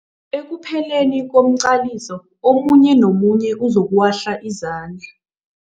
Ekupheleni komqaliso omunye nomunye uzokuwahla izandla.